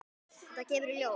Þetta kemur í ljós!